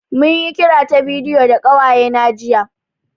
Mun yi kira ta bidiyo da ƙawaye na jiya